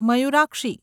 Mayurakshi